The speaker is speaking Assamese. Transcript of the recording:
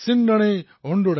সেয়াও আমাৰ বাবে প্ৰেৰণাদায়ী